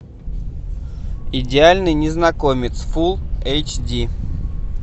идеальный незнакомец фул эйч ди